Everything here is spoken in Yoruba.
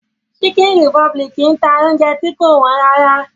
Chicken republic ń ta oúnjẹ tí kò wọ́n rárá